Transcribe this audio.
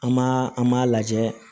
An m'a an m'a lajɛ